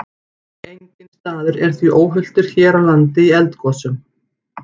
Enginn staður er því óhultur hér á landi í eldgosum.